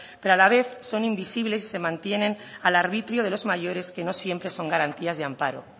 pero a la vez son invisibles y se mantienen al arbitrio de los mayores que no siempre son garantía de amparo